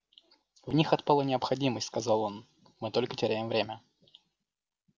в них отпала необходимость сказал он мы только теряем время